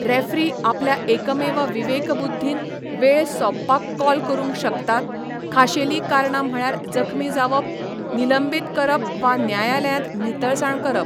Referee आपल्या एकमेव विवेकबुद्दीन वेळ सोंपपाक कॉल करूंक शकतात, खाशेलीं कारणां म्हळ्यार जखमी जावप, निलंबीत करप वा न्यायालयांत नितळसाण करप.